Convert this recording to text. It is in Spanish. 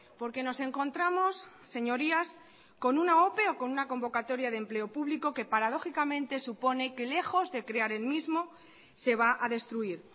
porque nos encontramos señorías con una ope o con una convocatoria de empleo público que paradójicamente supone que lejos de crear el mismo se va a destruir